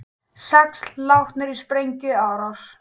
Sex látnir í sprengjuárás